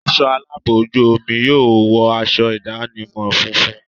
Ẹ̀ṣọ́ aláàbò ojú omi yóò wọ aṣọ ìdánimọ̀ funfun.